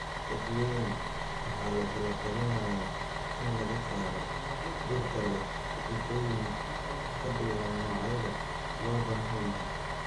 Rogueing waxaa lagula talinayaa in laga saaro dhirta leh sifooyin ka duwan noocyada loo baahan yahay.